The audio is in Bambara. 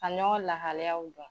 Ka ɲɔgɔn lahaliyaw dɔn